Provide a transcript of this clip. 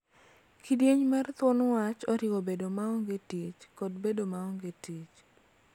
Kidieny mar thuon wach oriwo bedo maonge tich kod bedo maonge tich.